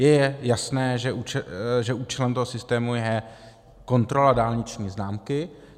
Je jasné, že účelem toho systému je kontrola dálniční známky.